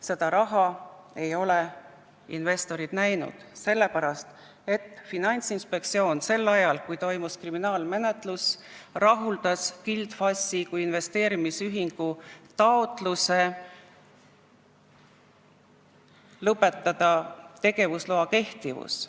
Seda raha ei ole investorid näinud, sest Finantsinspektsioon rahuldas sel ajal, kui toimus kriminaalmenetlus, Gild FAS-i kui investeerimisühingu taotluse lõpetada tegevusloa kehtivus.